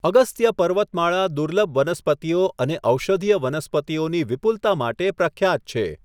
અગસ્ત્ય પર્વતમાળા દુર્લભ વનસ્પતિઓ અને ઔષધીય વનસ્પતિઓની વિપુલતા માટે પ્રખ્યાત છે.